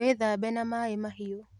Wĩthambe na maaĩ mahiu